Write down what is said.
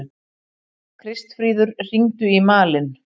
Kristfríður, hringdu í Malin.